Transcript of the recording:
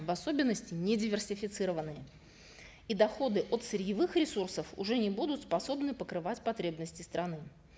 в особенности недиверсифицированные и доходы от сырьевых ресурсов уже не будут способны покрывать потребности страны